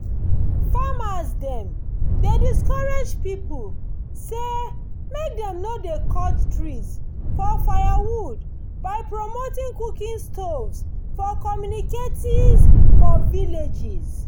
farmers dem dey discourage people say make dem no dey cut trees for firewood by promoting cooking stoves for communicaties for villages